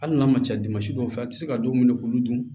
Hali n'a ma ca dɔw fɛ a tɛ se ka don minɛ k'olu dun